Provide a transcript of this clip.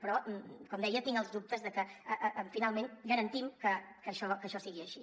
però com deia tinc els dubtes de que finalment garantim que això sigui així